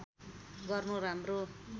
गर्नु राम्रो